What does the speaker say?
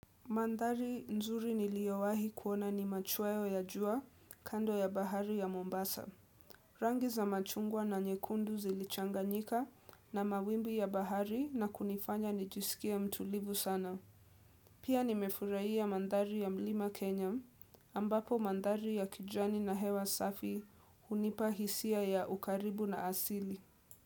Madhari nzuri niliowahi kuona ni machweyo ya jua kando ya bahari ya Mombasa. Rangi za machungwa na nyekundu zilichanganyika na mawimbi ya bahari na kunifanya nijiskie mtulivu sana. Pia nimefurahia madhari ya mlima Kenya ambapo madhari ya kijani na hewa safi hunipa hisia ya ukaribu na asili.